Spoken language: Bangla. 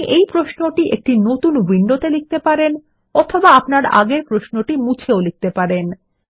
আপনি এই প্রশ্নটি একটি নতুন উইন্ডোতে লিখতে পারেন অথবা আপনি আগের প্রশ্নটি মুছেও লিখতে পারেন